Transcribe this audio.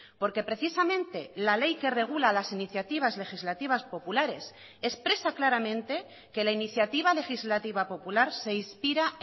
porque precisamente la ley que regula las iniciativas legislativas populares expresa claramente que la iniciativa legislativa popular se inspira